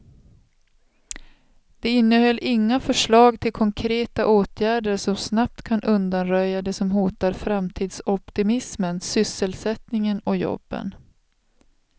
Det innehöll inga förslag till konkreta åtgärder som snabbt kan undanröja det som hotar framtidsoptimismen, sysselsättningen och jobben.